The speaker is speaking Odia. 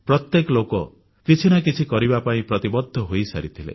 ପ୍ରତ୍ୟେକ ଲୋକ କିଛି ନା କିଛି କରିବା ପାଇଁ ପ୍ରତିବଦ୍ଧ ହୋଇସାରିଥିଲେ